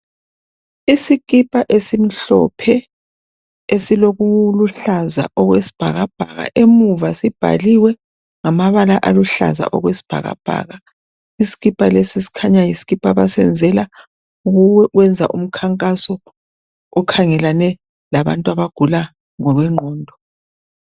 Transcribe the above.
Isikipa esimhlophe esilokuluhlaza okwesibhabhaka emuva sibhaliwe ngamabala aluhlaza okwesibhakabhaka isikipa lesi sikhanya yisikipa abasenzela okokwenza umkhankaso okhangelane labantu abagula ngokwe ngqondo.